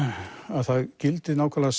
það gildi nákvæmlega